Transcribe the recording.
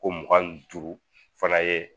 Ko mugan ni duuru fana ye